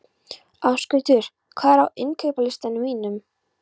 Ásgautur, hvað er á innkaupalistanum mínum?